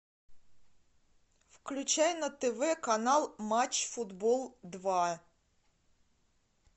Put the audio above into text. включай на тв канал матч футбол два